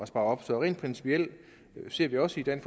op så rent principielt ser vi også gerne